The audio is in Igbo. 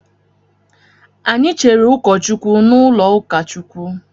Anyị Cheere ụkọ Chukwu n'ụlọ ukachukwu.